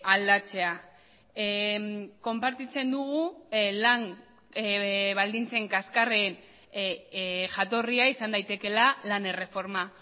aldatzea konpartitzen dugu lan baldintzen kaxkarren jatorria izan daitekeela lan erreforma